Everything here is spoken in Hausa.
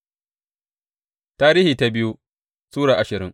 biyu Tarihi Sura ashirin